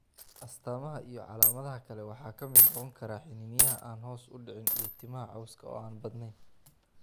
astamaha iyo calaamadaha kale waxaa ka mid noqon kara xiniinyaha aan hoos u dhicin iyo timaha cawska oo aan badneyn.